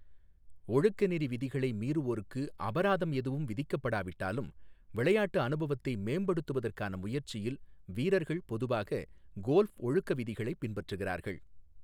ஒழுக்கநெறி விதிகளை மீறுவோருக்கு அபராதம் எதுவும் விதிக்கப்படாவிட்டாலும், விளையாட்டு அனுபவத்தை மேம்படுத்துவதற்கான முயற்சியில் வீரர்கள் பொதுவாக கோல்ப் ஒழுக்க விதிகளைப் பின்பற்றுகிறார்கள்.